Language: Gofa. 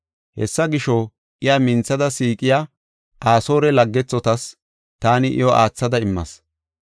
“Hessa gisho, iya minthada siiqiya Asoore laggethotas taani iyo aathada immas.